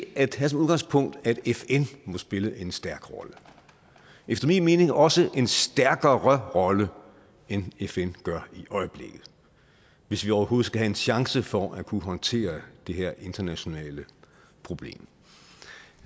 at have som udgangspunkt at fn må spille en stærk rolle efter min mening også en stærkere rolle end fn gør i øjeblikket hvis vi overhovedet skal have en chance for at kunne håndtere det her internationale problem